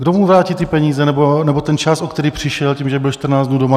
Kdo mu vrátí ty peníze nebo ten čas, o který přišel tím, že byl 14 dnů doma?